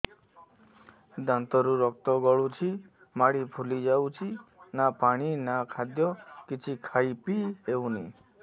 ଦାନ୍ତ ରୁ ରକ୍ତ ଗଳୁଛି ମାଢି ଫୁଲି ଯାଉଛି ନା ପାଣି ନା ଖାଦ୍ୟ କିଛି ଖାଇ ପିଇ ହେଉନି